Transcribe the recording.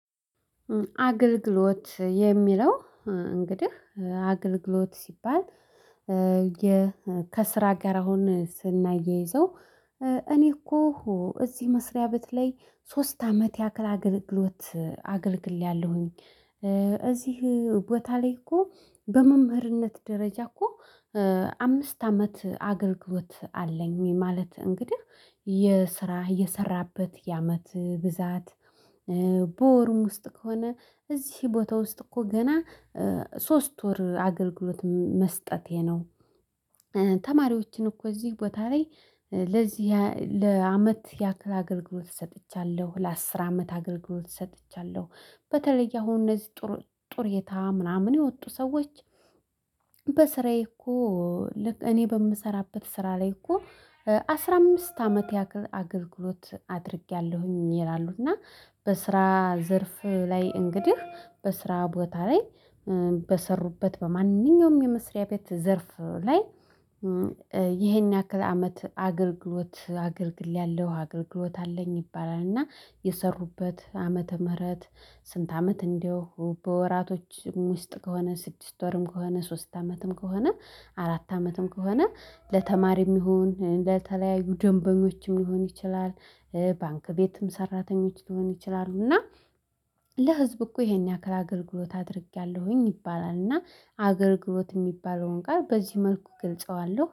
አገልግሎት የሚለው እንግዲህ አገልግሎት ሲባል ከስራ ጋር አሁን ስናያይዘው እኔ እኮ እዚህ መስሪያ በተለይ ሶስት አመት ያክል አገልግሎት አገልግያለሁኝ። እዚህ ቦታ ላይ እኮ በመምህርነት ደረጃ እኮ አምስት አመት አገልግሎት አለኝ። ማለት እንግዲህ የስራ የሰራበት የአመት ብዛት በወርም ውስጥ ከሆነ እዚህ ቦታ ውስጥ እኮ ገና ሶስት ወር አገልግሎት መስጠቴ ነው። ተማሪዎችን እኮ እዚህ ቦታ ላይ ለዚህ ለአመት ያክል አገልግሎት ሰጥቻለሁ ለአስር አመት አገልግሎት ሰጥቻለሁ በተለይ አሁን እነዚህ ጡሬታ ምናምን የወጡ ሰዎች። በስራዬ እኮ እኔ በምሰራበት ስራ ላይ እኮ አስራ አምስት አመት ያክል አገልግሎት አድርጌያለሁኝ ይላሉ። እና በስራ ዘርፍ ላይ እንግዲህ በስራ ቦታ ላይ በሰሩበት በማንኛውም የመስሪያ ቤት ዘርፍ ላይ ይሄን ያክል አመት አገልግሎት አገልግያለው አገልግሎት አለኝ ይባላል። እና የሰሩበት ዓመተ ምረት? ስንት አመት እንደው በወራቶች ውስጥ ከሆነ ስድስት ወርም ከሆነ ሶስት ዓመትም ከሆነ አራት ዓመትም ከሆነ ለተማሪም ይሁን ለተለያዩ ደንበኞችም ሊሆን ይችላል። ባንክ ቤትም ሰራተኞች ሊሆን ይችላሉ። እና ለህዝብ እኮ ይሄን ያክል አገልግሎት አድርጌያለሁኝ ይባላልና አገልግሎት እሚባለውን ቃል በዚህ መልኩ እገልጸዋለሁ